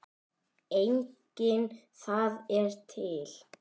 Einnig það er til.